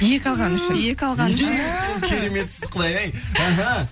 екі алғаны үшін екі алғаны үшін кереметсіз құдай ай іхі